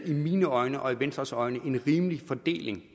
i mine øjne og i venstres øjne lavet en rimelig fordeling